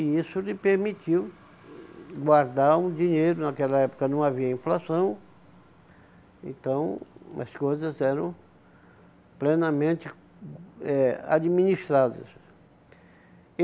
e isso lhe permitiu guardar um dinheiro, naquela época não havia inflação, então as coisas eram plenamente eh administradas.